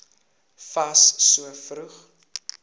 fas so vroeg